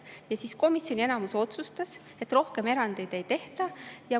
Ja komisjoni enamus otsustas, et rohkem erandeid ei tehta.